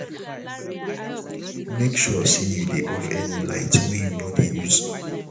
mek sure say you dey off any light wey you no dey use